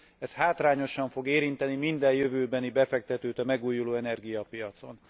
Ez hátrányosan fog érinteni minden jövőbeni befektetőt a megújulóenergia piacon.